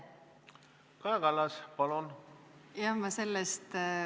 Kaja Kallas, palun!